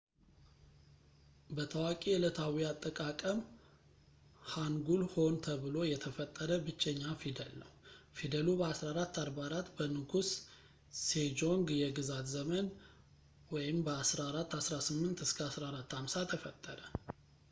በታዋቂ ዕለታዊ አጠቃቀም ሃንጉል ሆን ተብሎ የተፈጠረ ብቸኛ ፊደል ነው። ፊደሉ በ 1444 በንጉስ ሴጆንግ የግዛት ዘመን 1418 - 1450 ተፈጠረ